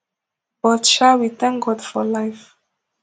but sha we thank god for life